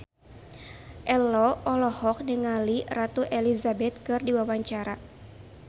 Ello olohok ningali Ratu Elizabeth keur diwawancara